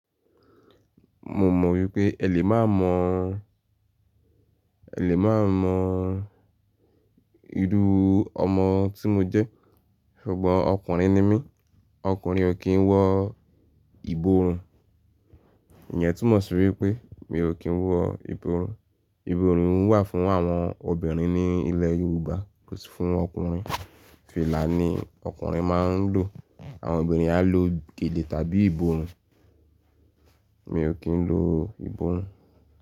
Mo mọ̀ wípé ẹ lè má mọ̀, ẹ lè má mọ̀ irú ọmọ tí mo jẹ́ ṣùgbọ́n ọkùnrin ni mí. Ọkùnrin ò kí ń wọ ìborùn. Ìyẹn túmọ̀ sí wípé mi ò kí ń wọ ìborùn. Ìborùn wà fún àwọn obìnrin ní ilẹ̀ Yorùbá kò sì fún ọkùnrin. Fìlà ni ọkùnrin máa ń lò. Àwọn obìnrin á lo gèlè tàbí ìborùn. Mi ò kí ń lo ìborùn.